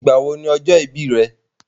Ìgbà wo ni ọjọ́ ìbí rẹ?